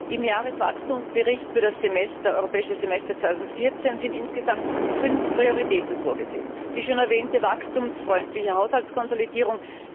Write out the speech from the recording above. Im Jahreswachstumsbericht für das Europäische Semester 2014 sind insgesamt fünf Prioritäten vorgesehen Die schon erwähnte wachstumsfreundliche Haushaltskonsolidierung.